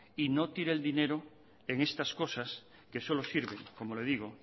y no tire el dinero en estas cosas que solo sirven como le digo